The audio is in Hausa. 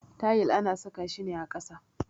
Tayil ana saka shi ne ƙasa.